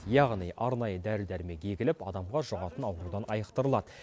яғни арнайы дәрі дәрімек егіліп адамға жұғатын аурудан айықтырылады